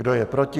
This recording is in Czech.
Kdo je proti?